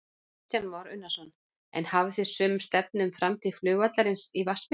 Kristján Már Unnarsson: En hafið þið sömu stefnu um framtíð flugvallarins í Vatnsmýri?